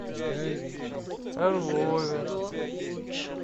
орлове